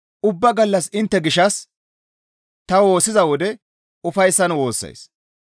Ubba gallas intte gishshas ta woossiza wode ufayssan woossays.